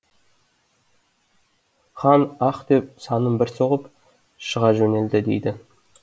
хан аһ деп санын бір соғып шыға жөнелді дейді